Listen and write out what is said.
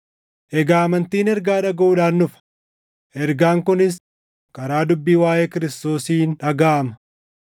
Egaa amantiin ergaa dhagaʼuudhaan dhufa; ergaan kunis karaa dubbii waaʼee Kiristoosiin dhagaʼama.